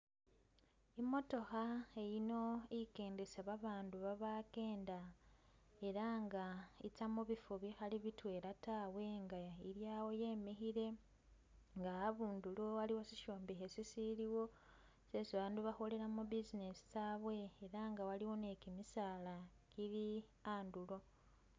Imootokha eyino ikendesa babaandu babakenda ela nga itsya mubifo bikhali bitwela tawe inga ili awo yemikhile nga habundilo waliwo shishombekhe shishilwo shesi bandu bakholelamo business tsaawe ela nga waliwo ni gimisaala gili handulo.